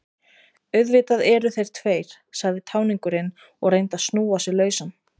Auðvitað eru þeir tveir, sagði táningurinn og reyndi að snúa sig lausan.